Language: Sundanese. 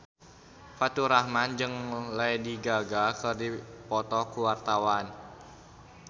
Faturrahman jeung Lady Gaga keur dipoto ku wartawan